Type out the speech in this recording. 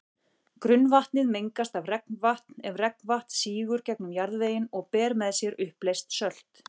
Grunnvatnið mengast ef regnvatn sígur gegnum jarðveginn og ber með sér uppleyst sölt.